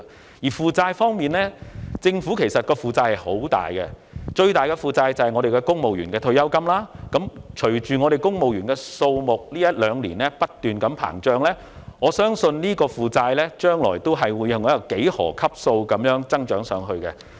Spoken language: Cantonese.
至於負債方面，其實政府有巨額的負債，最大部分在於公務員的退休金，隨着公務員的數目在這一兩年不斷膨脹，我相信在未來，有關的負債額將會按幾何級數增長。